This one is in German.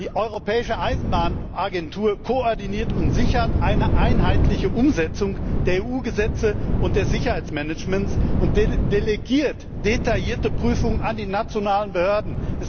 Die Europäische Eisenbahnagentur koordiniert und sichert eine einheitliche Umsetzung der EU Gesetze und des Sicherheitsmanagements und delegiert detaillierte Prüfungen an die nationalen Behörden.